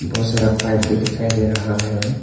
बहुत सारा पाइप भी दिखाई दे रहा है।